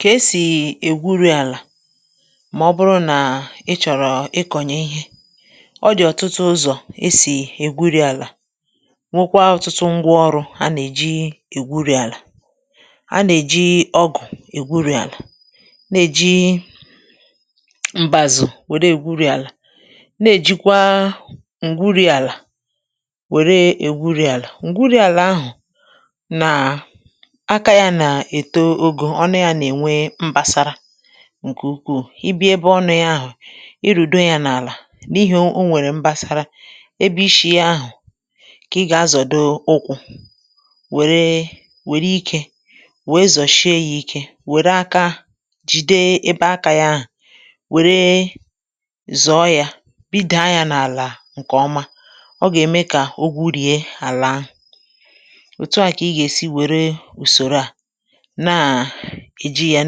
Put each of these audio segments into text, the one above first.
Kà esì ègwurì àlà ma o bụrụ na i chọrọ ikonye ìhe. O di ọtụtu ụzọ esì ègwuri àlà. Nwèkwa ọtụtu ngwa ọrụ ànà ejì ègwuri àlà. À nà ejì ọgụ ègwuri àlà. Nà-èji mbazu na-egwuri àlà. Nà ejì kwà ngwuri àlà wère ègwuri àlà. Ngwuri àlà ahụ, nà, akȧ yà nà-eto ogo, ọnu yà n'ènwe mbasara, nkè ùkwù. I bịa ebè ọnu yà ahụ, irudo yà n'àla, n'ihì o nwèrè mbȧsara. Ebè ishi yà ahụ kà iga azode ùkwù, nwèrè wèrè ikė wèè zoshie yà ikė. Wère aka, jide ebè aka yà ahụ, wère zọọ yà, bida yà n'àla nkè ọma. ọ gà-ème kà ogwụrie àlà ahụ. Otù a kà iga esì wère usòro a, na ejì yà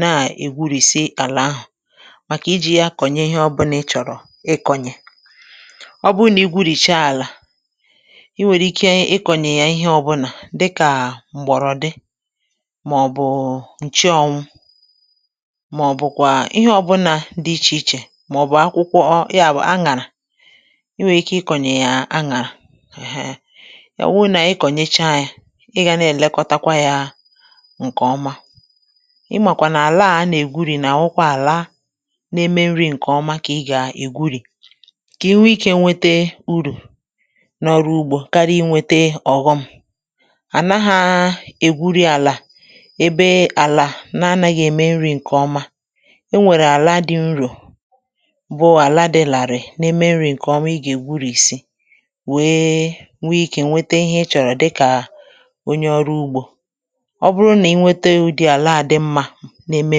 n'egwurisi àlà ahụ. Màkà ijì yà kọnye ìhe ọ bùla i chọrọ ịkònye. ọ bụrụ na igwụriesha àlà, i nwèrè ikė ịkònye yà ìhe ọ bùla dịkà mgborodi, màọbụ nchọnwụ, màọbụ kwà ìhe ọ bùla di ichè ichè. Màọbụ akwụkwọ, yà wu anara. I nwèrè ikė ịkònye yà anara, ehe ọ wụrụ na-ịkònyecha yà. Ị ga na elekotakwa yà nkè ọma. Ị màkwa n'àla ànà ègwuri, nà-àwụkwa àlà na-ème nrị nkè ọma kà iga ègwuri, kà i nwè ikė nwete ụrụ nà-ọrụ ugbȯ karia i na enwètè ọghom. Ànàgha ègwuri àlà ebè àlà na-anaghị ème nrị nkè ọma. O wère àlà di nro, bụ àlà di lari, na-ème nrị nkè ọma i ga ègwurìsi wèè nwè ikė nwete ìhe i chọrọ dịkà onyė ọrụ ugbȯ. ọ bụrụ nà-inwetà udị àlà a di nmȧ, na-ème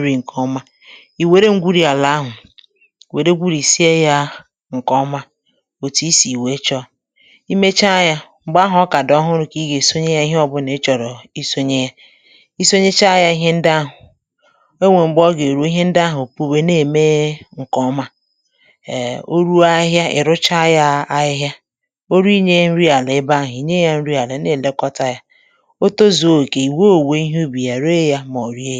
nrị nkè ọma, i nwèrè ngwuri àlà ahụ, wère gwurìsia ya nkè ọma, otù isi wèè chọọ. I mecha yà, mgbè ahụ ọ kà di ọhụrụ kà iga esonye ìhe ọ bùla i chọrọ i sonye. I sonyecha yà ìhe ǹdi ahụ, o nwèrè mgbè ọ gà-èrù, ìhe ǹdi ahụ puwe, na-èmee ǹkè ọma. Eh o ruo ahihịa, i rucha yà ahihịa. O ruo inyė nrị àlà ebè ahụ, inye yà nrị àlà n'elekota yà. Òtozie okè, iwè owùwe ìhe ubì yà, rèè yà màọbụ rie yà.